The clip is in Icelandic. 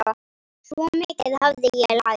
Svo mikið hafði ég lært.